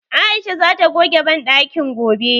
Aisha zata goge banɗakin gobe.